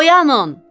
Oyanın!